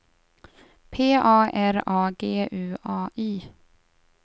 P A R A G U A Y